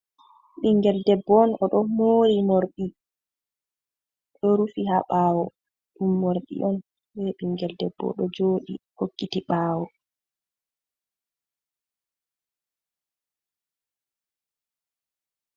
Ɓingel debbo on o ɗo mori morɗi ɗo rufi ha ɓawo, ɗum morɗi on be ɓingel debbo ɗo joɗi hokkiti ɓawo.